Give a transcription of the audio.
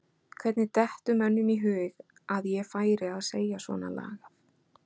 Hvernig dettur mönnum í hug að ég færi að segja svona lagað?